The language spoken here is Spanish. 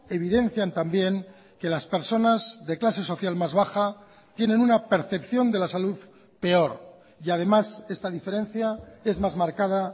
evidencian también que las personas de clase social más baja tienen una percepción de la salud peor y además esta diferencia es más marcada